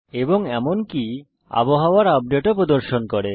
এবং এমনকি আবহাওয়ার আপডেট ও প্রদর্শন করে